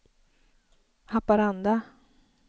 Haparanda